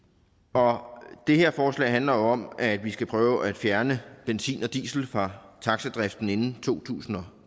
og det her forslag handler jo om at vi skal prøve at fjerne benzin og diesel fra taxadriften inden to tusind og